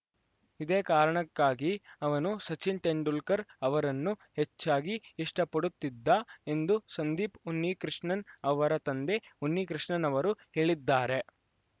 ಇದೇ ಕಾರಣಕ್ಕಾಗಿ ಅವನು ಸಚಿನ್‌ ತೆಂಡೂಲ್ಕರ್‌ ಅವರನ್ನು ಹೆಚ್ಚಾಗಿ ಇಷ್ಟಪಡುತ್ತಿದ್ದ ಎಂದು ಸಂದೀಪ್‌ ಉನ್ನಿಕೃಷ್ಣನ್‌ ಅವರ ತಂದೆ ಉನ್ನಿಕೃಷ್ಣನ್‌ ಅವರು ಹೇಳಿದ್ದಾರೆ